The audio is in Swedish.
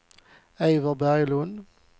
Eivor Berglund